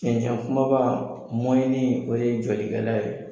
Cɛncɛn kumaba, o de ye jɔlikɛla ye.